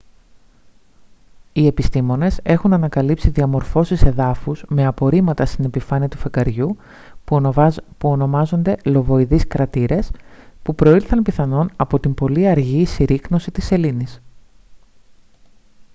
οι επιστήμονες έχουν ανακαλύψει διαμορφώσεις εδάφους με απορρίμματα στην επιφάνεια του φεγγαριού που ονομάζονται λοβοειδείς κρατήρες που προήλθαν πιθανόν από την πολύ αργή συρρίκνωση της σελήνης